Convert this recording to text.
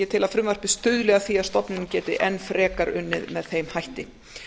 ég tel að frumvarpið stuðli að því að stofnunin geti enn frekar unnið með þeim hætti